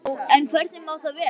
Já, en hvernig má það vera?